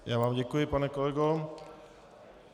Já vám děkuji, pane kolego.